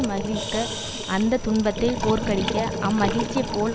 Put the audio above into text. மகிழ்க அந்த துன்பத்தை தோற்கடிக்க அம்மகிழ்ச்சியைப் போல்